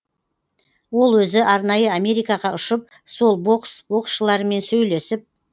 ол өзі арнайы америкаға ұшып сол бокс боксшылармен сөйлесіп